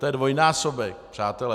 To je dvojnásobek, přátelé.